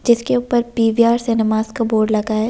जिसके ऊपर पी_वी_आर सिनेमास का बोर्ड लगा है ।